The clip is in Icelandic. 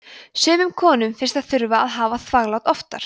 sumum konum finnst þær þurfa að hafa þvaglát oftar